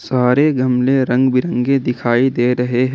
सारे गमले रंग बिरंगे दिखाई दे रहे हैं।